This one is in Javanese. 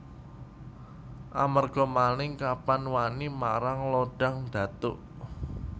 Amarga Maling Kapa wani marang Lodang Datuk